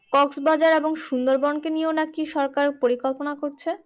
Cox Bazar এবং সুন্দরবনকেও নিয়ে নাকি সরকার পরিকল্পনা করছে।